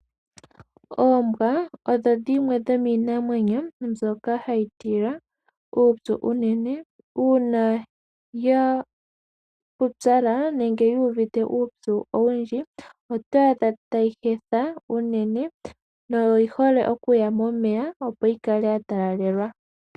Oombwa odho dhimwe dhomiinamwenyo mbyoka hayi tila uupyu unene. Uuna ya pupyala nenge yuuvite uupyu owundji, oto adha tayi hetha unene, noyi hole okuya momeya opo yi kale ya talalelwa.